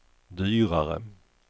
dyrare